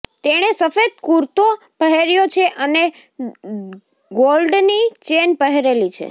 તેણે સફેદ કુર્તો પહેર્યો છે અને ગોલ્ડની ચેન પહેરેલી છે